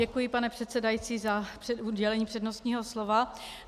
Děkuji, pane předsedající, za udělení přednostního slova.